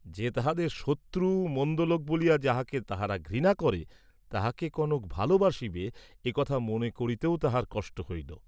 যে তাহাদের শত্রু, মন্দ লোক বলিয়া যাহাকে তাহারা ঘৃণা করে তাহাকে কনক ভালবাসিবে এ কথা মনে করিতেও তাহার কষ্ট হইল।